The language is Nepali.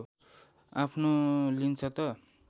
आफ्नो लिन्छ त